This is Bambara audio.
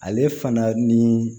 Ale fana ni